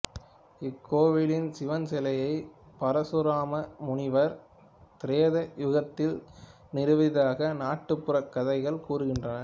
இக்கோவிலின் சிவன் சிலையை பரசுராம முனிவர் திரேதா யுகத்தில் நிறுவியதாக நாட்டுப்புறக் கதைகள் கூறுகின்றன